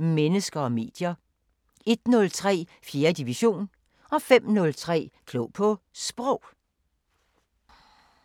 00:05: Mennesker og medier 01:03: 4. division 05:03: Klog på Sprog